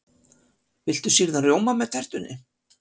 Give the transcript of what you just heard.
Viltu sýrðan rjóma með tertunni?